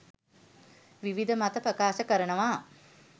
විවිධ මත ප්‍රකාශ කරනවා.